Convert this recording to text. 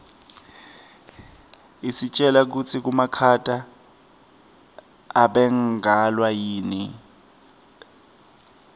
isitjela kutsi makhata abangelwa yini